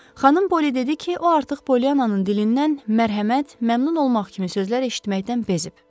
Xanım Polli dedi ki, o artıq Poliyananın dilindən mərhəmət, məmnun olmaq kimi sözlər eşitməkdən bezib.